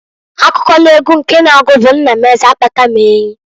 Akụkọ n'egwu nke na-agu bu Nna m Eze akpata m enyi.